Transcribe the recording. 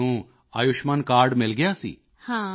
ਤਾਂ ਤੁਹਾਨੂੰ ਆਯੁਸ਼ਮਾਨ ਕਾਰਡ ਮਿਲ ਗਿਆ ਸੀ